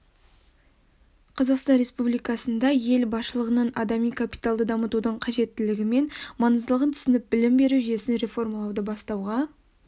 қазақстан республикасында ел басшылығының адами капиталды дамытудың қажеттілігі мен маңыздылығын түсініп білім беру жүйесін реформалауды бастауға